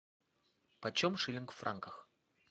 почем шиллинг в франках